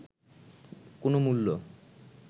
কোনো মূল্য